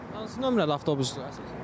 Hansı nömrəli avtobusdur əsas?